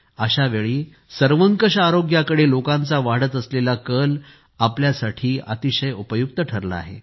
अशावेळी सर्वंकष आरोग्याकडे लोकांचा वाढत असलेला कल आपल्यासाठी अतिशय उपयुक्त ठरला आहे